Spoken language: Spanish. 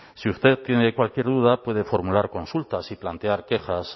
si usted tiene de cualquier duda puede formular consultas y plantear quejas